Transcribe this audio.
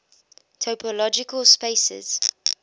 topological spaces